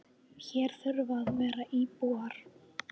Hér þurfa að vera íbúar.